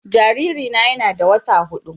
Jaririna yana da wata hudu